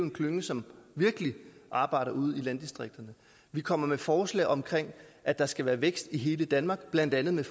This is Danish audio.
en klynge som virkelig arbejder ude i landdistrikterne vi kommer med forslag om at der skal være vækst i hele danmark blandt andet med